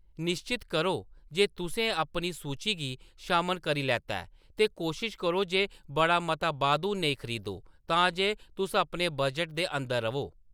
निश्चत करो जे तुसें अपनी सूची गी शामल करी लैता ऐ, ते कोशश करो जे बड़ा मता बाद्धू नेईं खरीदो, तां जे तुस अपने बजट दे अंदर र'वो।